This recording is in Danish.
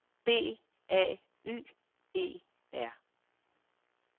B A Y E R